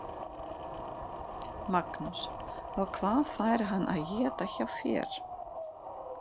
Magnús: Og hvað fær hann að éta hjá þér?